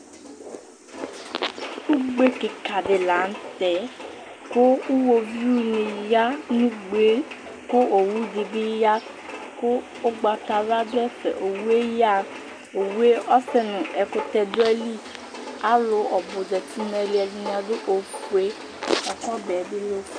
Ugbe kika di la n'tɛ kʋ uwoviu ni ya n'ugbe yɛ kʋ owu di bi ya kʋ ʋgbatawla dʋ ɛfɛOwu yɛ yaha, owu yɛ ɔsɛ nu ɛkʋtɛ dʋ ayili Alʋ ɔbʋ zati n'ayili, ɛdini adʋ ofue, lak'ɔbɛ bi l'of